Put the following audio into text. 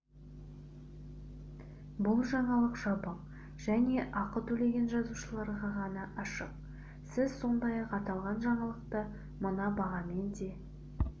бұл жаңалық жабық және ақы төлеген жазылушыларға ғана ашық сіз сондай-ақ аталған жаңалықты мына бағамен де